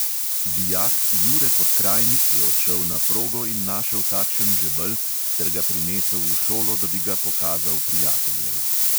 Dijak jure podkrajnik je odšel na progo in našel takšen žebelj ter ga prinesel v šolo, da bi ga pokazal prijateljem.